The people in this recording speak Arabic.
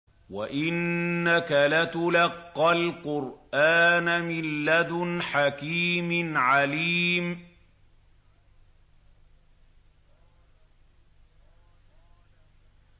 وَإِنَّكَ لَتُلَقَّى الْقُرْآنَ مِن لَّدُنْ حَكِيمٍ عَلِيمٍ